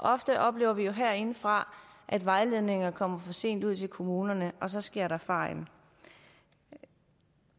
ofte oplever vi jo herindefra at vejledninger kommer for sent ud til kommunerne og så sker der fejl jeg